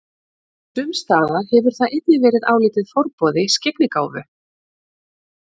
Sumstaðar hefur það einnig verið álitið forboði skyggnigáfu.